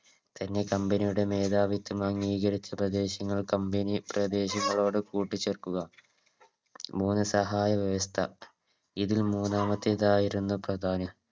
തന്നെ Company മേധാവിത്തം അംഗീകരിച്ച പ്രദേശം Company പ്രദേശങ്ങളോട് കൂട്ടിച്ചേർക്കുക മൂന്ന് സഹായവ്യവസ്ഥ ഇതിൽ മൂന്നാമത്തേതായിരുന്നു പ്രധാനം